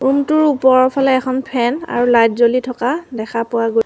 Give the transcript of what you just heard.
room টোৰ ওপৰৰ ফালে এখন ফেন আৰু লাইট জ্বলি থকা দেখা পোৱা গৈ--